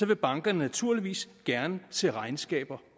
vil bankerne naturligvis gerne se regnskaber